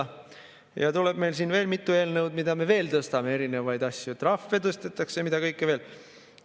Meil tuleb siin veel mitu eelnõu, mida me veel tõstame, erinevaid asju, trahve tõstetakse ja mida kõike veel.